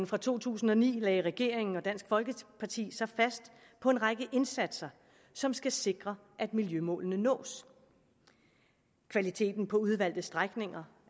fra to tusind og ni lagde regeringen og dansk folkeparti sig fast på en række indsatser som skal sikre at miljømålene nås kvaliteten på udvalgte strækninger